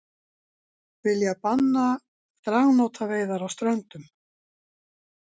Vilja banna dragnótaveiðar á Ströndum